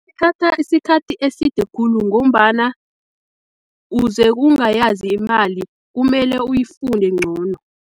Ithatha isikhathi eside khulu, ngombana uze ungayazi imali, kumele uyifunde ngcono.